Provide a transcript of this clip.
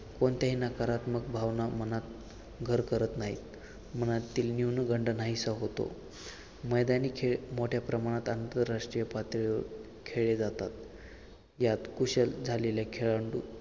कोणत्याही नकारात्मक भावना मनात घर करत नाहीत मनातील न्यूनगंड नाहीसा होतो. मैदानी खेळ मोठ्या प्रमाणात आंतरराष्ट्रीय पातळीवर खेळले जातात. यात कुशल झालेले खेळाडू